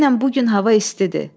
Denən bu gün hava istidir.